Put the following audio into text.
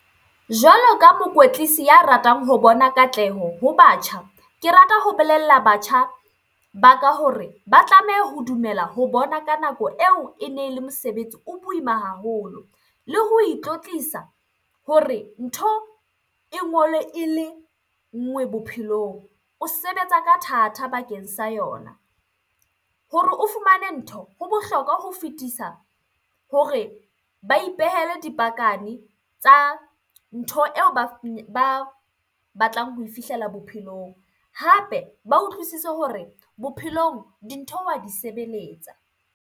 Jwalo ka mokwetlisi ya ratang ho bona katleho ho batjha. Ke rata ho belella batjha ba ka hore ba tlameha ho dumela ho bona ka nako eo ene le mosebetsi o boima haholo. Le ho itlotlisa hore ntho e ngolwe ele nngwe bophelong, o sebetsa ka thata bakeng sa yona. Hore o fumane ntho, ho bohlokwa ho fetisa hore ba ipehele tsa ntho eo ba batlang ho fihlela bophelong. Hape ba utlwisise hore bophelong dintho wa di sebeletsa